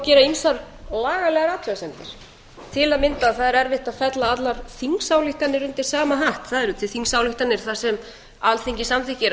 gera man lagalegar athugasemdir til að mynda að það er erfitt að fella allar þingsályktanir undir sama hatt það eru til þingsályktanir þar sem alþingi samþykkir